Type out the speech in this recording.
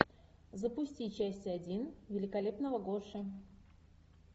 запусти часть один великолепного гоши